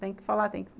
Tem que falar. Tem que